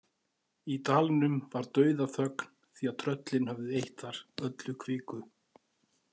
Í dalnum var dauðaþögn því að tröllin höfðu eytt þar öllu kviku.